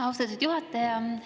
Austatud juhataja!